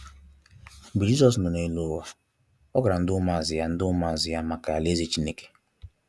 Mgbe Jisọs nọ n'elu ụwa,ọ gwara ndi ụmụazụ ya ndi ụmụazụ ya maka alaeze Chineke.